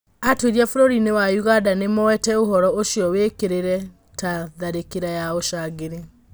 Atwĩria bũrũrĩnĩ wa ũganda nĩmoete ũhoro ũcio wekĩkire ta tharĩkĩra ya ũcangiri.